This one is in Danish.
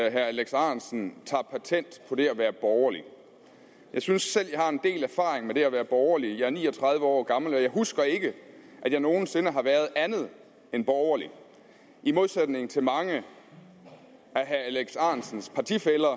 at herre alex ahrendtsen tager patent på det at være borgerlig jeg synes selv at jeg har en del erfaring med det at være borgerlig jeg er en ni og tredive år gammel og jeg husker ikke at jeg nogen sinde har været andet end borgerlig i modsætning til mange af herre alex ahrendtsens partifæller